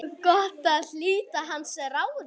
Gott að hlíta hans ráðum.